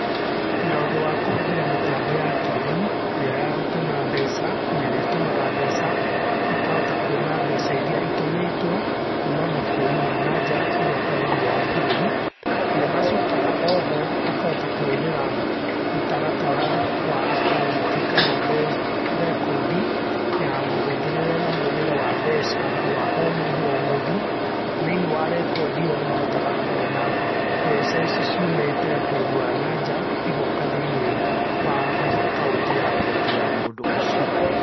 Na ũndũ wa kũhũthĩra mĩtambo ya kĩrĩũ ĩrĩa ya gũtũma mbeca nerĩa ĩtũmaga mbeca, makahota kũona mbeca irĩa cĩtũmĩtwo kũma mabũrũri ma nanja igoka thĩiniĩ wa bũrũri. Na nĩmacokaga oho makahota kũhũthĩra mũtaratara wa akaunti kana mbeca, rekondi ya mũhũthĩrĩre na mwonere wa mbeca wa omũndũ omũndũ, thĩiniĩ wa rekondi ĩyo nĩmahotaga kũona mbeca ici ciũmĩte bũrũri wa nanja igoka thĩiniĩ wa akaunti ya bengi ya mũndũ ũcio.